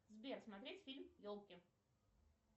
сбер смотреть фильм елки